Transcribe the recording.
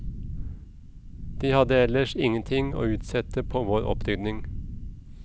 De hadde ellers ingenting å utsette på vår opprydning.